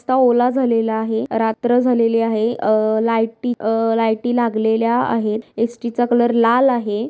रस्ता ओला झालेला आहे. रात्र झालेली आहे. अ लाईटी अ लाईटी लागलेल्या आहे. एस_टी चा कलर लाल आहे.